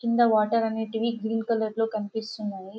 కింద వాటర్ అనేటివి green colour లో కనిపిస్తున్నాయి.